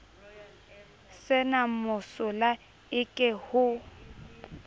se na mosola eke ho